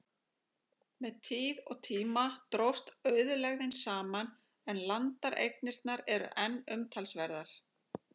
Með tíð og tíma dróst auðlegðin saman, en landareignirnar eru enn umtalsverðar.